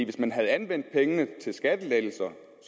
hvis man havde anvendt pengene til skattelettelser